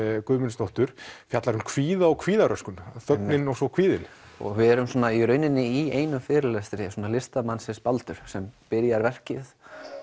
Guðmundsdóttur fjallar um kvíða og kvíðaröskun þögnin og svo kvíðinn við erum svona í rauninni í einum fyrirlestri svona listamannsins Baldurs sem byrjar verkið